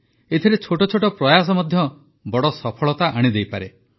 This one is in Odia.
ଏଥିରେ ଛୋଟ ଛୋଟ ପ୍ରୟାସ ମଧ୍ୟ ବଡ଼ ସଫଳତା ଆଣି ଦେଇପାରେ